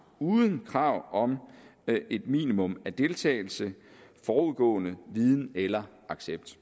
uden krav om et minimum af deltagelse forudgående viden eller accept